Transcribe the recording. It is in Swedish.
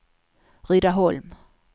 Rydaholm